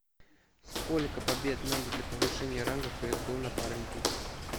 сколько побед надо для повышения ранга в кс го напарники